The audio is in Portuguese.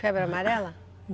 Febre amarela?